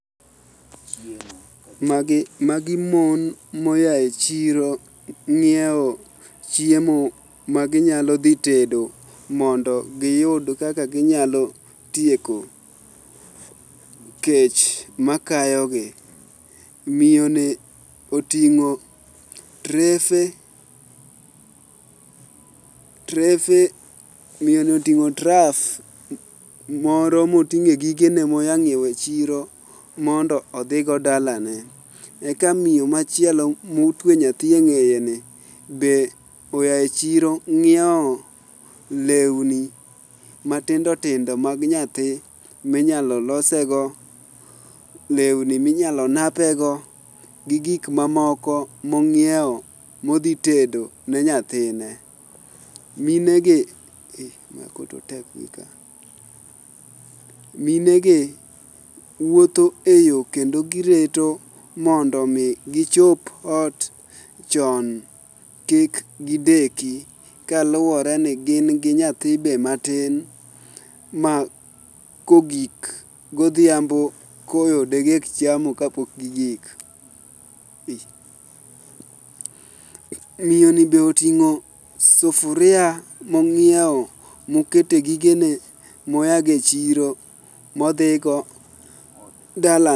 Magi mon moya e chiro ng'iewo chiemo maginyalo dhi tedo mondo giyud kaka ginyalo tieko kech makayogi. Miyo ni oting'o trough moro moting'e gigene moya nyiewo e chiro mondo odhigo dalane. Eka miyo machielo motwe nyathi e ng'eyene be oya e chiro ng'iewo lewni matindo tindo mag nyathi minyalo losego, lewni minyalo napego, gi gik mamoko mong'iewo modhi tedo ne nyathine. minegi wuotho e yo kendo gireto mondo omi gichop ot chon kik gideki kaluwore ni gin gi nyathi be matin ma kogik godhiambo koyo dedek chamo kapok gigik. Miyoni be oting'o sufuria mong'iewo mokete gigene moyago e chiro modhigo dala.